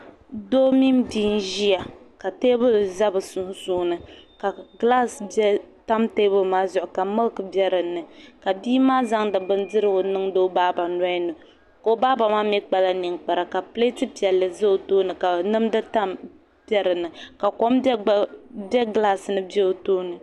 Doo mini bia n ʒiya ka teebuli ʒɛ bi sunsuuni ka gilaas tam teebuli maa zuɣu ka milk bɛ dinni ka bia maa zaŋdi bindirigu niŋdi o baaba nolini o baaba maa mii kpala ninkpara ka pileeti piɛlli mii ʒɛ o tooni ka nimdi bɛ dinni ka kom bɛ gilaas ni bɛ o tooni